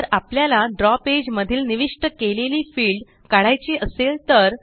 जर आपल्याला द्रव पेज मधील निविष्ट केलेली फिल्ड काढायची असेल तर